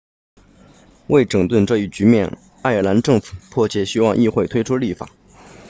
为整顿这一局面爱尔兰政府迫切希望议会推出立法